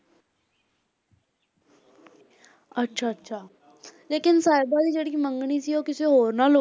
ਅੱਛਾ ਅੱਛਾ ਲੇਕਿੰਨ ਸਾਹਿਬਾਂ ਦੀ ਜਿਹੜੀ ਮੰਗਣੀ ਸੀ ਉਹ ਕਿਸੇ ਹੋਰ ਨਾਲ,